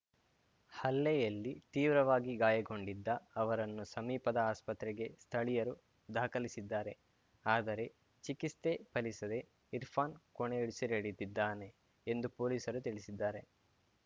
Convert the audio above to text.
ಹಲ್ಲೆಯಲ್ಲಿ ತೀವ್ರವಾಗಿ ಗಾಯಗೊಂಡಿದ್ದ ಅವರನ್ನು ಸಮೀಪದ ಆಸ್ಪತ್ರೆಗೆ ಸ್ಥಳೀಯರು ದಾಖಲಿಸಿದ್ದಾರೆ ಆದರೆ ಚಿಕಿತ್ಸೆ ಫಲಿಸದೆ ಇರ್ಫಾನ್‌ ಕೊನೆಯುಸಿರೆಳೆದಿದ್ದಾನೆ ಎಂದು ಪೊಲೀಸರು ತಿಳಿಸಿದ್ದಾರೆ